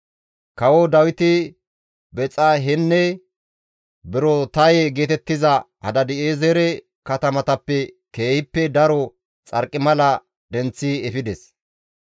Kawo Dawiti Bexahenne Berotaye geetettiza Hadaadi7eezere katamatappe keehippe daro xarqimala denththi efides.